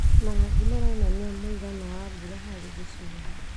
Marangi maronania mũigana wa mbura harĩ gĩcigo